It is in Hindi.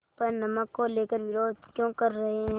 पर नमक को लेकर विरोध क्यों कर रहे हैं